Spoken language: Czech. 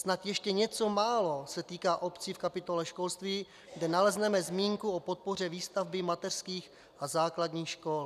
Snad ještě něco málo se týká obcí v kapitole školství, kde nalezneme zmínku o podpoře výstavby mateřských a základních škol.